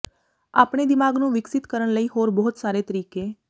ਆਪਣੇ ਦਿਮਾਗ ਨੂੰ ਵਿਕਸਿਤ ਕਰਨ ਲਈ ਹੋਰ ਬਹੁਤ ਸਾਰੇ ਤਰੀਕੇ